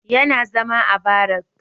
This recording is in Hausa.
Yana zama a barak